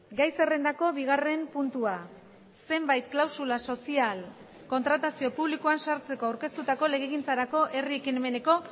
gai zerrendako bigarren puntua zenbait klausula sozial kontratazio publikoan sartzeko aurkeztutako legegintzarako herri ekimeneko